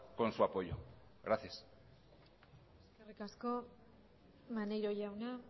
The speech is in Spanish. con su apoyo gracias eskerrik asko maneiro jauna